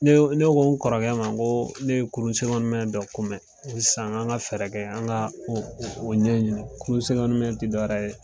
Ne Ne ko n kɔrɔkɛ ma, ko ne ye kurun dɔ ko mɛ, ko san, an ga fɛɛrɛ kɛ, an ga o ɲɛɲini kurun ti dɔwɛrɛ ye